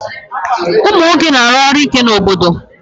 Ụmụ nwoke na-aru ọrụ ike n'obodo